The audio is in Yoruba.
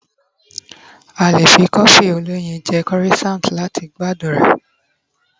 a lè fi cofi oloyin je croissant lati gbádùn rẹ